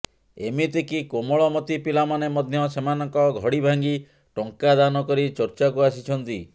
ଏମିତି କି କୋମଳମତି ପିଲାମାନେ ମଧ୍ୟ ସେମାନଙ୍କ ଘଡ଼ି ଭାଙ୍ଗି ଟଙ୍କା ଦାନ କରି ଚର୍ଚ୍ଚାକୁ ଆସିଛନ୍ତି